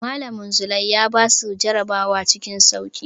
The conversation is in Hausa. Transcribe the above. Malamin Zulai ya basu jarabawa cikin sauƙi.